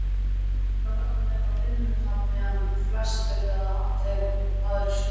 Það veldur meira vinnutapi en flestir eða allir aðrir sjúkdómar.